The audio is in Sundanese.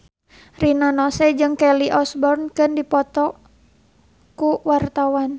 Rina Nose jeung Kelly Osbourne keur dipoto ku wartawan